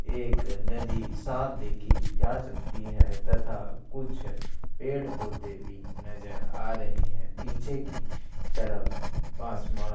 एक नदी साफ देखि जा सकती है तथा कुछ पेड़ पौधे भी नजर आ रहै हैं। पीछे की तरफ आसमान--